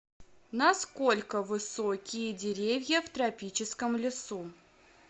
насколько высокие деревья в тропическом лесу